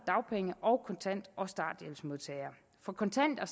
dagpenge kontant og starthjælpsmodtagere for kontant og